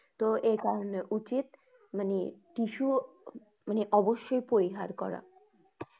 তো এইকারনে উচিৎ মানে tissue মানে অবশ্যই পরিহার করা।